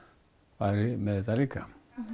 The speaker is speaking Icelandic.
væri með þetta líka